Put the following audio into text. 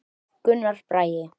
Gunnar Bragi.